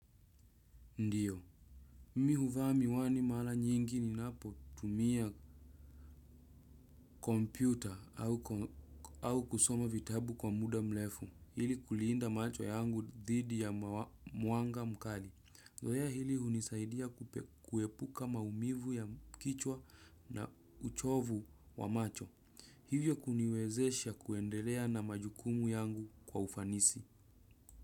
Ndiyo. Mi huvaa miwani mara nyingi ninapo tumia kompyuta au au kusoma vitabu kwa muda mrefu. Ili kuliinda macho yangu dhidi ya muanga mkali. Zoya hili hunisaidia kuepuka maumivu ya kichwa na uchovu wa macho. Hivyo kuniwezesha kuendelea na majukumu yangu kwa ufanisi.